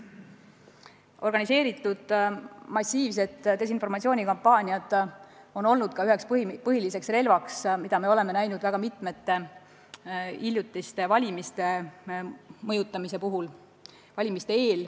Organiseeritud massiivsed desinformatsioonikampaaniad on olnud üks põhilisi relvi, mida me oleme näinud ka mitmete hiljutiste valimiste mõjutamise puhul.